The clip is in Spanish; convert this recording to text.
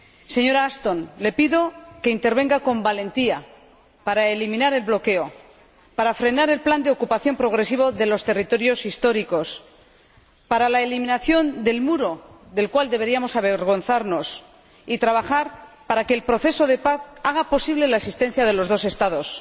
Señora Ashton, le pido que intervenga con valentía para eliminar el bloqueo, para frenar el plan de ocupación progresivo de los territorios históricos y para la eliminación del muro, del cual deberíamos avergonzarnos, y trabajar para que el proceso de paz haga posible la existencia de los dos Estados.